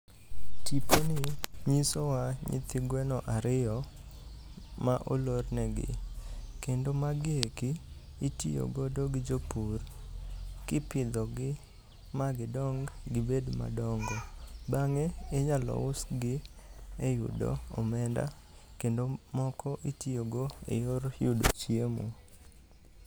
Tiponi nyisowa nyithi gweno ariyo ma olornegi. Kendo magi eki itiyogodo gi jopur kipidhogi magidong gibed madongo. bang'e inyalo usgi e yudo omenda kendo moko itiyogo e yor yudo chiemo.